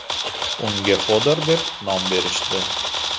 Unga Xodor deb nom berishdi .